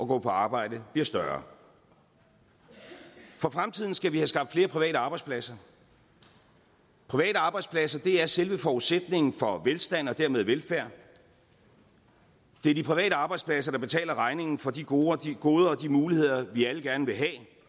gå på arbejde bliver større for fremtiden skal vi have skabt flere private arbejdspladser private arbejdspladser er selve forudsætningen for velstand og dermed velfærd det er de private arbejdspladser der betaler regningen for de goder de goder og de muligheder vi alle gerne vil